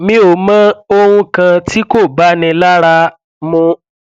mi ò mọ ohun kan tí kò báni lára mu